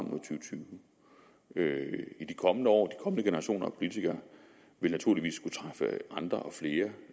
tyve i de kommende år vil de kommende generationer af politikere naturligvis skulle træffe andre og flere